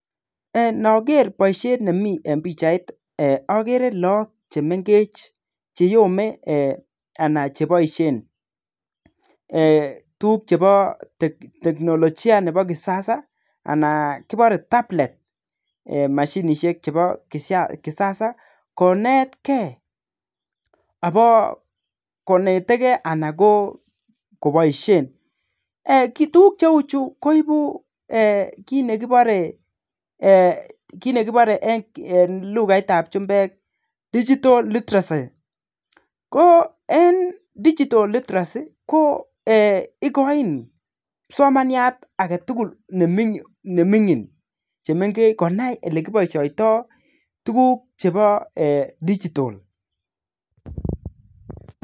Eeeh ndoger boisiet nemi eng pichait iih ogere look chemengech cheyome anan cheboisien eeh tuguk chebo [ teknolojia nebo kisasa] anan kibore [ [tablet]eeh moshinisiek chebo kisasa konetgen abo konetegen anan koboisien eeh tuguk che uu chuu koibu kit nekibore kit nekibore eeh eng lukaitab jumbek [digital literacy] ko eng [digital literacy]ko igoin kipsomaniat agetugul nemingin chemengech konai ole kiboisioitoi tuguk chebo [digital].